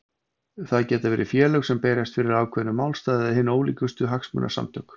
Það geta verið félög sem berjast fyrir ákveðnum málstað eða hin ólíkustu hagsmunasamtök.